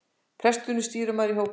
Presturinn stýrimaður í hópefli.